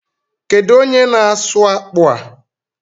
Kedu onye na-asụ akpụ a?